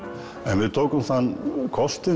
við tókum þann kost